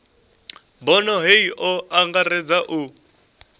bono hei o angaredza u